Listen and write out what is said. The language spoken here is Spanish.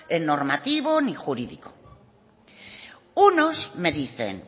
normativo ni jurídico unos me dicen